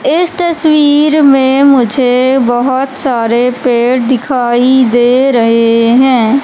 इस तस्वीर में मुझे बहोत सारे पेड़ दिखाई दे रहे हैं।